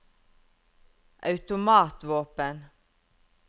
automatvåpen